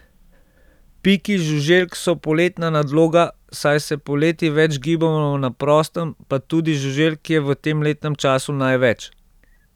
Piki žuželk so poletna nadloga, saj se poleti več gibamo na prostem, pa tudi žuželk je v tem letnem času največ.